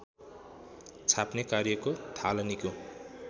छाप्ने कार्यको थालनीको